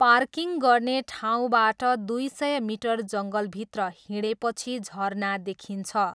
Parking गर्ने ठाउँबाट दुई सय मिटर जङ्गलभित्र हिँडेपछि झरना देखिन्छ।